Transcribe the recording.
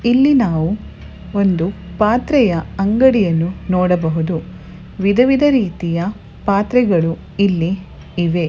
ಇಲ್ಲಿ ನಾವು ಒಂದು ಪಾತ್ರೆಯ ಅಂಗಡಿಯನ್ನು ನೋಡಬಹುದು ವಿಧವಿಧ ರೀತಿಯ ಪಾತ್ರಗಳು ಇಲ್ಲಿ ಇವೆ .